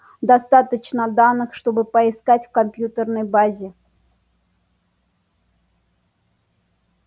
достаточно данных чтобы поискать в компьютерной базе